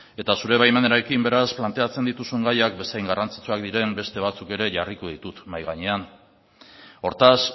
zure baimenarekin beraz planteatzen dituzun gaiak bezain garrantzitsuak diren beste batzuk ere jarriko ditut mahai gainean hortaz